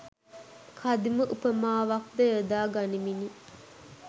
කදිම උපමාවක් ද යොදා ගනිමිනි.